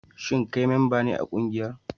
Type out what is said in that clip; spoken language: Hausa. Shin kai memba ne a kungiyar?